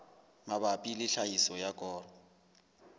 mabapi le tlhahiso ya koro